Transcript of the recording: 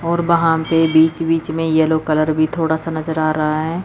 और बहा पे बीच बीच में येलो कलर भी थोड़ा सा नजर आ रा है।